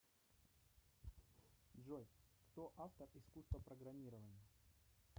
джой кто автор искусство программирования